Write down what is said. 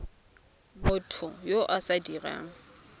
motho yo o sa dirang